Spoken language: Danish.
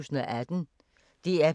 DR P1